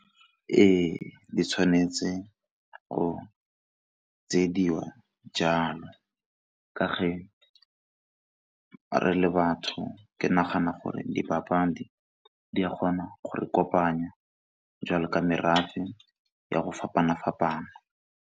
Ee, di tshwanetse go tsiediwa jalo ka ge re le batho ke nagana gore dipapadi di a kgona go re kopanya jalo ka merafe ya go fapana-fapana.